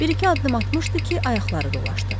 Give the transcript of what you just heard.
Bir-iki addım atmışdı ki, ayaqları dolaşdı.